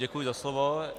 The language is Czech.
Děkuji za slovo.